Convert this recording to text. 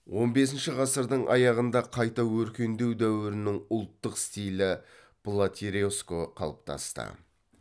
он бесінші ғасырдың аяғында қайта өркендеу дәуірінің ұлттық стилі платереско қалыптасты